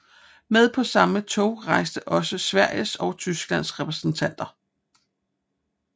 Med på samme tog rejste også Sveriges og Tysklands repræsentanter